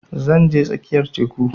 Zan je tsakiyar teku